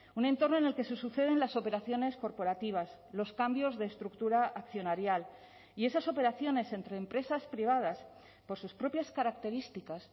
un entorno en el que se suceden las operaciones corporativas los cambios de estructura accionarial y esas operaciones entre empresas privadas por sus propias características